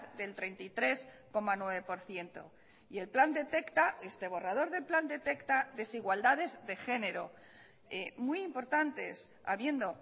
del treinta y tres coma nueve por ciento y el plan detecta este borrador del plan detecta desigualdades de género muy importantes habiendo